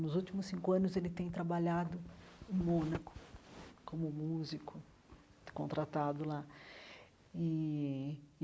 Nos últimos cinco anos, ele tem trabalhado em Mônaco como músico contratado lá e.